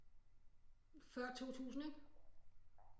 Før 2000 ikke